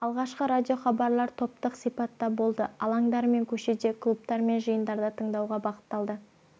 алғашқы радиохабарлар топтық сипатта болды алаңдар мен көшеде клубтар мен жиындарда тыңдауға бағытталды